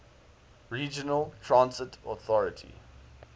regional transit authority